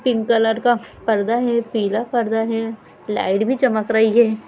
Pick colour का पर्दा है पीला पर्दा है लाइट भी चमक रही है।